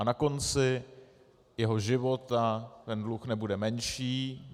A na konci jeho života ten dluh nebude menší.